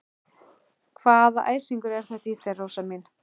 Hvaða æsingur er þetta í þér, Rósa mín?